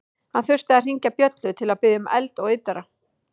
Hann þurfti að hringja bjöllu til að biðja um eld og yddara.